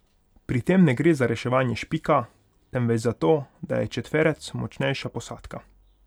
Pri tem ne gre za reševanje Špika, temveč zato, da je četverec močnejša posadka.